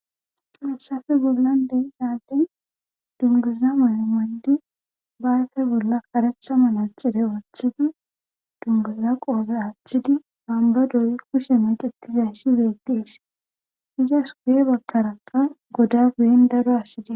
Mussafe bollandey saaldin dunduza malamandi bayfe bolla karatha manaxire woothidi dunguza qooze aachchidi bambadoy kushe macetiza shi beettees izas wuye bakkarakkan goda guyin daro assidi.